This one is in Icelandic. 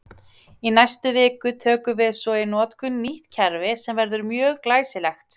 Í næstu viku tökum við svo í notkun nýtt kerfi sem verður mjög glæsilegt!